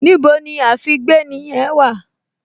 Níbo ni àfígbéni yẹn wà?